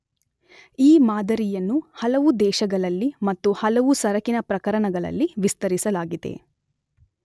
ಈ ಮಾದರಿಯನ್ನು ಹಲವು, ದೇಶಗಳಲ್ಲಿ ಮತ್ತು ಹಲವು, ಸರಕಿನ ಪ್ರಕರಣಗಳಲ್ಲಿ ವಿಸ್ತರಿಸಲಾಗಿದೆ.